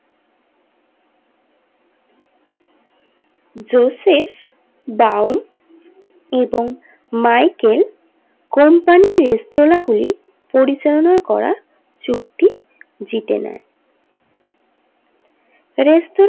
Joseph দাউন এবং Michael company রেস্তোরাঁ গুলি পরিচালনা করার চুক্তি জিতে নেই রেস্তোরাঁ।